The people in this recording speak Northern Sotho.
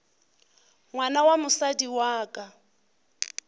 ngwana wa mosadi wa ka